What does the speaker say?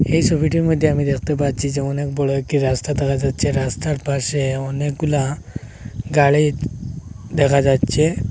এই সোবিটির মইদ্যে আমি দেখতে পাচ্ছি যে অনেক বড় একটি রাস্তা দেখা যাচ্ছে রাস্তার পাশে অনেকগুলা গাড়ি দেখা যাচ্চে।